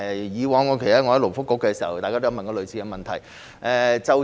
以往我在勞工及福利局工作時，大家也曾提出類似問題。